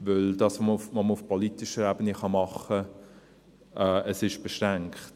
Denn das, was man auf politischer Eben tun kann, ist beschränkt.